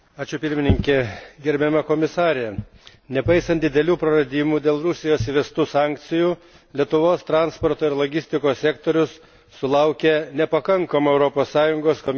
Gerbiama komisare, nepaisant didelių praradimų dėl Rusijos įvestų sankcijų, Lietuvos transporto ir logistikos sektorius sulaukė nepakankamo Europos Komisijos dėmesio.